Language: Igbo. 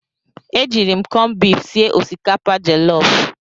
E jiiri m kọmbif sie osikapa jọlọf.